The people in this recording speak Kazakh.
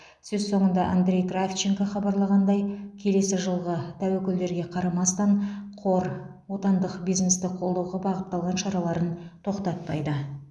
сөз соңында андрей кравченко хабарлағандай келесі жылғы тәуекелдерге қарамастан қор отандық бизнесті қолдауға бағытталған шараларын тоқтатпайды